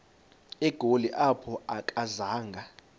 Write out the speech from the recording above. egoli apho akazanga